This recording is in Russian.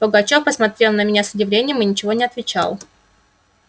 пугачёв посмотрел на меня с удивлением и ничего не отвечал